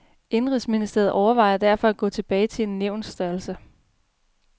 Indenrigsministeriet overvejer derfor at gå tilbage til en nævnsstørrelse.